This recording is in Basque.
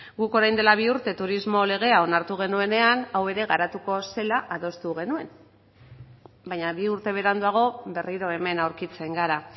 guk orain dela bi urte turismo legea onartu genuenean hau ere garatuko zela adostu genuen baina bi urte beranduago berriro hemen aurkitzen gara